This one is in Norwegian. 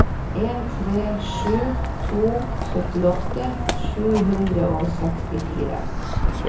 en tre sju to syttiåtte sju hundre og sekstifire